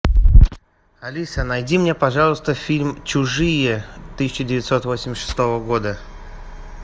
алиса найди мне пожалуйста фильм чужие тысяча девятьсот восемьдесят шестого года